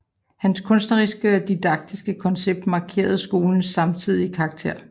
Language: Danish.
Hans kunstneriske og didaktiske koncept markerede skolens samtidige karakter